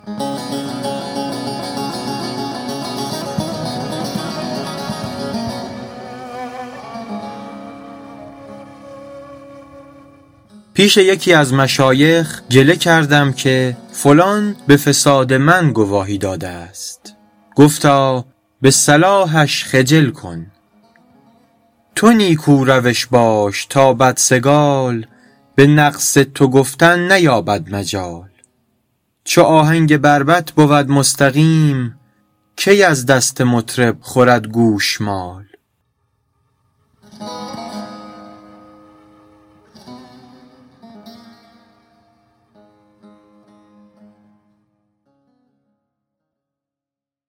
پیش یکی از مشایخ گله کردم که فلان به فساد من گواهی داده است گفتا به صلاحش خجل کن تو نیکو روش باش تا بدسگال به نقص تو گفتن نیابد مجال چو آهنگ بربط بود مستقیم کی از دست مطرب خورد گوشمال